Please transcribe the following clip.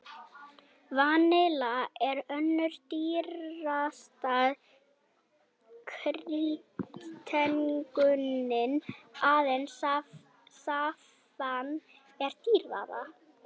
Vanilla er önnur dýrasta kryddtegundin, aðeins saffran er dýrara.